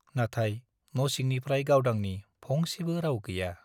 नाथाय न' सिंनिफ्राइ गावदांनि फंसेबो राउ गैया ।